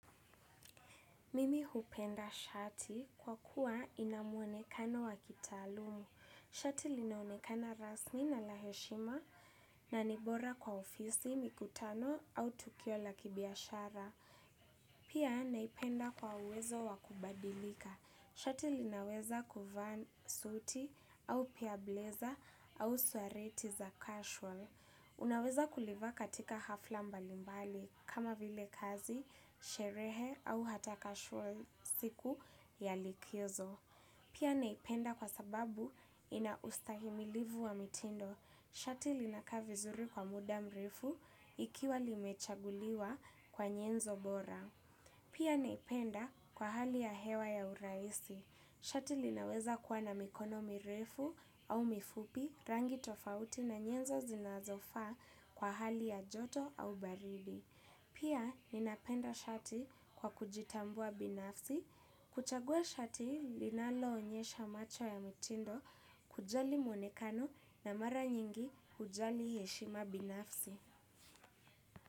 Mimi hupenda shati kwa kuwa ina muonekano wa kitaalum. Shati linaonekana rasmi na la heshima na ni bora kwa ofisi, mikutano au tukio la kibiashara. Pia naipenda kwa uwezo wa kubadilika. Shati linaweza kuvaa suti au pia bleza au suareti za casual. Unaweza kulivaa katika hafla mbalimbali kama vile kazi, sherehe au hata casual, siku ya likizo. Pia naipenda kwa sababu ina ustahimilivu wa mitindo. Shati linakaa vizuri kwa muda mrefu ikiwa limechaguliwa kwa nyenzo bora. Pia naipenda kwa hali ya hewa ya urahisi. Shati linaweza kuwa na mikono mirefu au mifupi rangi tofauti na nyenzo zinazofaa kwa hali ya joto au baridi. Pia ninapenda shati kwa kujitambua binafsi. Kuchagua shati linaloonyesha macho ya mitindo kujali monekano na mara nyingi hujali heshima binafsi.